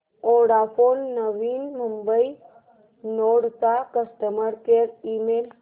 Vodafone Navi Mumbai node चा customer care email